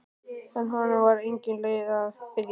En honum var engin leið að biðja.